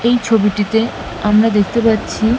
এই ছবিটিতে আমরা দেখতে পাচ্ছি।